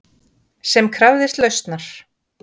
Sem krafðist lausnar.